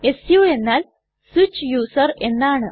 സു എന്നാൽ switch user എന്നാണ്